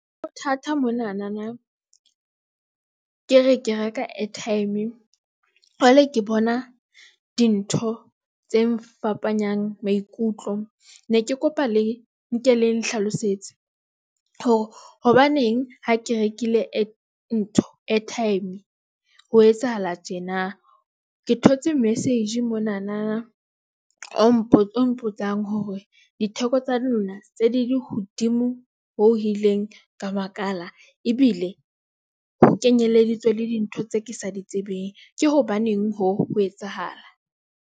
Bothata monanana ke re ke reka airtime, jwale ke bona dintho tse ngfapanyang maikutlo. Ne ke kopa le nke le nhlalosetse hore hobaneng ha ke rekile airtime ho etsahala tjena. Ke thotse Message monana o mpontshang hore ditheko tsa lona tse di hodimo ho ileng ka makala ebile ho ke nyeleditswe le dintho tse ke sa di tsebeng. Ke hobaneng hoo ho etsahala?